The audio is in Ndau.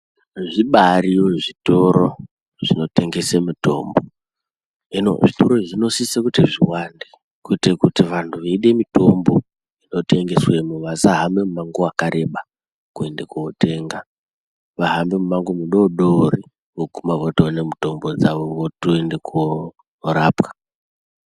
Zvibaariyo zvitoro zvinotengese mitombo. Hino zvitoro izvi zvinosise kuti zviwande kuite kuti vantu veide mitombo unotengeswemo vasahambe mimango wakareba kuende kuotenga, vahambe mimamgo midoodori vooguma votoone mutombo dzavo votoende kuorapwa.